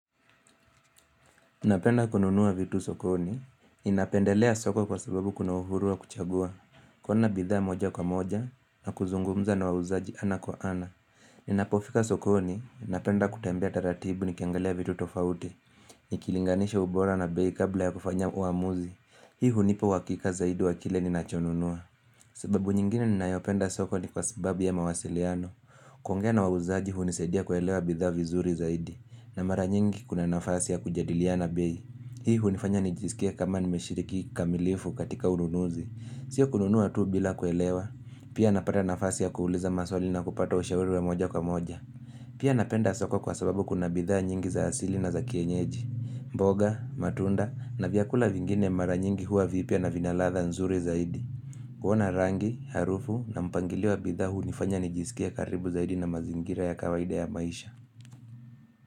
Napenda kununuwa vitu sokoni, ninapendelea soko kwa sababu kuna uhuru wa kuchagua, kuona bidhaa moja kwa moja, na kuzungumza na wauzaji ana kwa ana. Ninapofika sokoni, ninapenda kutembea taratibu nikiangalia vitu tofauti, nikilinganisha ubora na bei kabla ya kufanya uamuzi, hii hunipa uhakika zaidi wa kile ninachonunua. Sababu nyingine ninayopenda soko ni kwa sababu ya mawasiliano. Kuongea na wauzaji hunisaidia kuelewa bidhaa vizuri zaidi. Na mara nyingi kuna nafasi ya kujadiliana bei. Hii hunifanya nijisikie kama nimeshiriki kikamilifu katika ununuzi. Sio kununua tu bila kuelewa. Pia napata nafasi ya kuuliza maswali na kupata ushauri wa moja kwa moja. Pia napenda soko kwa sababu kuna bidhaa nyingi za asili na za kienyeji. Mboga, matunda na vyakula vingine mara nyingi huwa vipya na vina ladha nzuri zaidi. Kuona rangi, harufu na mpangilio wa bidhaa hunifanya nijisikie karibu zaidi na mazingira ya kawaida ya maisha.